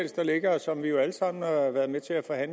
der ligger og som vi alle sammen